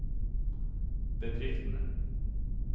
bedriftene